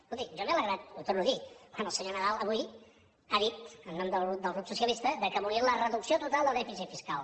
escolti jo me n’he alegrat ho torno a dir quan el senyor nadal avui ha dit en nom del grup socialista que volien la reducció total del dèficit fiscal